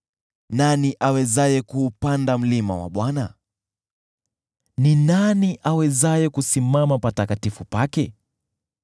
Nani awezaye kuupanda mlima wa Bwana ? Ni nani awezaye kusimama patakatifu pake?